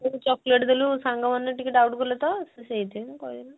ତୁ ଯୋ chocolate ଦେଲୁ ସାଙ୍ଗ ମାନେ ଟିକେ doubt କଲେ ତ ସେ ସେଇଥିପାଇଁ କହିଲା ଆଉ